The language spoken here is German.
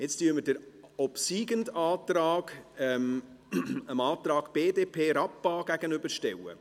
Jetzt stellen wir den obsiegenden Antrag dem Antrag BDP/Rappa gegenüber.